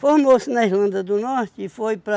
Formou-se na Islândia do Norte e foi para...